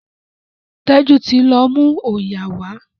Teju tí lọ mú oyà wa.